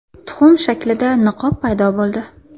Tuxum shaklida niqob paydo bo‘ldi.